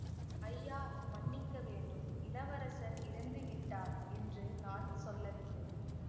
ஐயா மன்னிக்க வேண்டும் இளவரசர் இறந்து விட்டார் என்று நான் சொல்லவில்லை